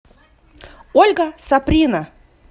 ольга саприна